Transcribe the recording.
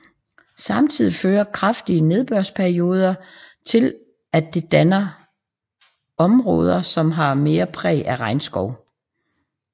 Samtidig fører kraftige nedbørsperioder til at det danne områder som har mere præg af regnskov